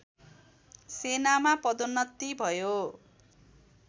सेनामा पदोन्नति भयो